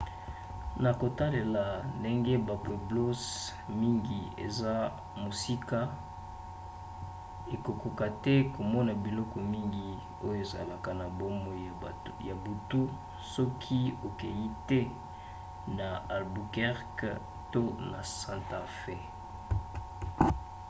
na kotalela ndenge bapueblos mingi eza mosika okokoka te komona biloko mingi oyo ezalaka na bomoi ya butu soki okei te na albuquerque to na santa fe